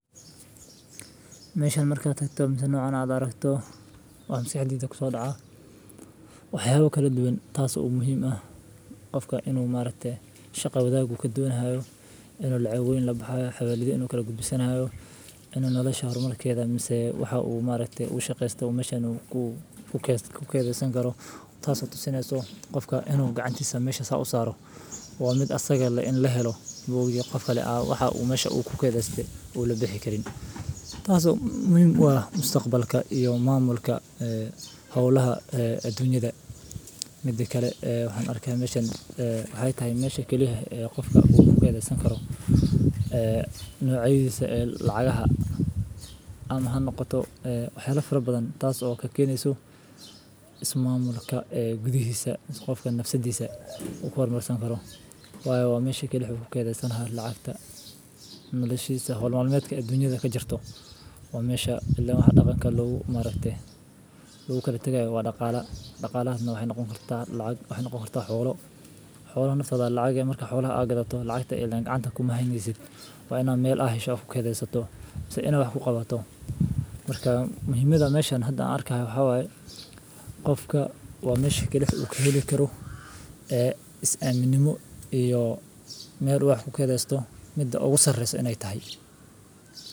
Meshan markad tagto mase waxyala noocan cad oo rakto. Waan si jidhig soo dhacaa. Waxyaabo kala duwan taas u muhiima ah. Qofka inuu maareen shaqo wadaagu ka duwan haayo. Inuu la cawimo laba xubnooda. Xabaalidda anigu kala gudbisan haayo in nolosha horumarkeeda. Mise, waxa uu maar ayeey u shaqeystay, uu mashan ku keedsan karo. Taasina soo qofka inuu gacantisa meesha sa u saaro. Waa mid asagga la in la helo buug iyo qof kale waxa uu mahashu ku kaydadeen uu la bixi karin. Taasi muhiim waana mustaqbalka iyo maamulka hawlaha ee dunyada. Midaki kale waxaan arki meesha waxay tahay meesha keliya ah ee qofka guurku keena karo nuucy'disa lacag aha. Anahan noqoto xiraf badan taas oo ka keenaysa ismaamulka gudihiisa. Qofka nafsadiisa ugu horumarsan karo. Waayo waa meesho keli xukuum keedaysan lacagta. Nala sheysna holmaaleedka ee dunyada ka jirto. Waa meesha ilaa hadda qofka lagu marae. Luu ka tagay waa dhaqaale. Dhaqaaleedna waxay noqon kartaa lacag. Waxay noqon kartaa xoolo. Xoolo sadac lacage marka xoolo la agato lacagta ee leyn gacanta ku mahanyisid. Waa inaad meel ahaysha u ku keedaysato si inay ku qabato. Markaa muhiimada meesha hadda arkay waxa way qofka waa meesha keli u ka heli karo ee is caaminimo iyo meel waax ku keedaysto muddo ugu sarreeysan in ay tahay.